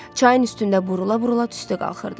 Çayın üstündə burula-burula tüstü qalxırdı.